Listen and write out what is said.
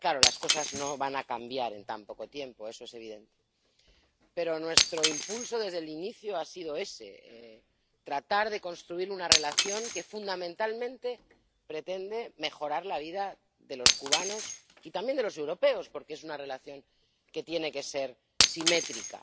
Claro, las cosas no van a cambiar en tan poco tiempo, eso es evidente. Pero nuestro impulso desde el inicio ha sido ese tratar de construir una relación que fundamentalmente pretende mejorar la vida de los cubanos y también de los europeos, porque es una relación que tiene que ser simétrica.